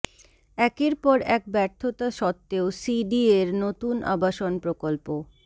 একের পর এক ব্যর্থতা সত্ত্বেও সিডিএর নতুন আবাসন প্রকল্প